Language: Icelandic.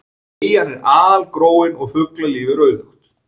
Eyjan er algróin og fuglalíf er auðugt.